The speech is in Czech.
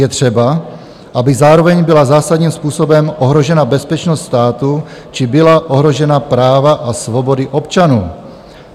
Je třeba, aby zároveň byla zásadním způsobem ohrožena bezpečnost státu či byla ohrožena práva a svobody občanů.